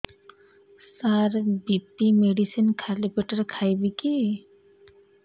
ସାର BP medicine ଖାଲି ପେଟରେ ଖାଇବି କି